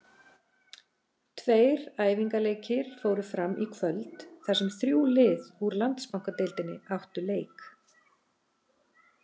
Tveir æfingaleikir fóru fram í kvöld þar sem þrjú lið úr Landsbankadeildinni áttu leik.